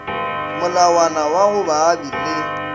molawana wa go baabi ba